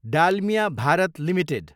Dalmia Bharat Ltd